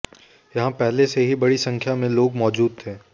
यहां पहले से ही बड़ी संख्या में लोग मौजूद थे